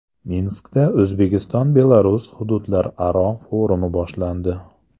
Minskda O‘zbekiston Belarus hududlararo forumi boshlandi.